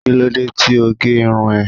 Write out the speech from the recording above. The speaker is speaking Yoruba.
Kílódé tí o gé irun ẹ?